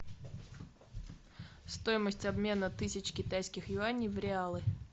стоимость обмена тысяч китайских юаней в реалы